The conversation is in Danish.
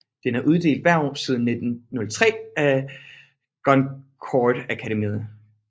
Den er uddelt hvert år siden 1903 af Goncourtakademiet